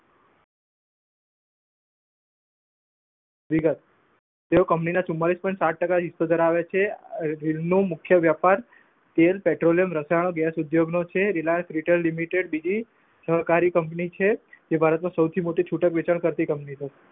વિગત તેઓ કંપનીના ચુમાંલીસ point સાત ટકા હિસ્સો ધરાવે છે. હીર નું મુખ્ય વેપાર તેલ પેટ્રોલીયમ રસાયણો ગેસ ઉદ્યોગનો છે. રિલાયન્સ રિટેલ લિમિટેડ બીજી સહકારી કંપની છે. જે ભારતની સૌથી મોટી છૂટક વેચાણ કરતી કંપની છે.